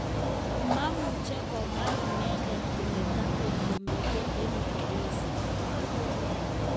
Mamuche komwa indengee kole tatu ngemiten en upelezi,"kamwa.